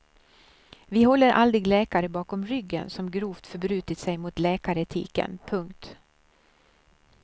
Vi håller aldrig läkare bakom ryggen som grovt förbrutit sig mot läkaretiken. punkt